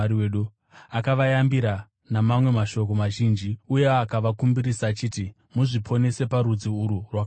Akavayambira namamwe mashoko mazhinji; uye akavakumbirisa achiti, “Muzviponese parudzi urwu rwakaora.”